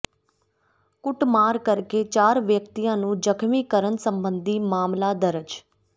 ਕੁੱਟਮਾਰ ਕਰਕੇ ਚਾਰ ਵਿਅਕਤੀਆਂ ਨੂੰ ਜ਼ਖ਼ਮੀ ਕਰਨ ਸਬੰਧੀ ਮਾਮਲਾ ਦਰਜ